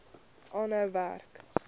aanhou werk